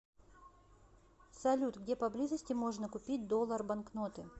салют где поблизости можно купить доллар банкноты